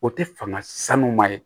O tɛ fanga sanu ma ye